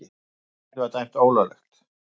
Verkfallið dæmt ólöglegt